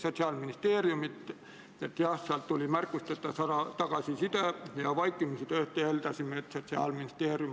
Muudatusettepanekute esitamise tähtajaks ehk 9. oktoobriks kella 17.15-ks ei esitatud eelnõu kohta ühtegi muudatusettepanekut.